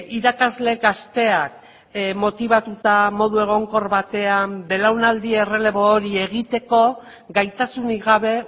irakasleek asteak motibatuta modu egonkor batean belaunaldi errelebo hori egiteko gaitasunik gabe